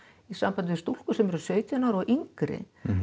í sambandi við stúlkur sautján ára og yngri